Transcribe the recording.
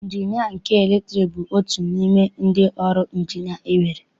Ịnjinịa nke latriki bụ otu n'ime ụdị ọrụ Ịnjinịa enwere.